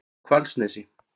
Hvalsnesi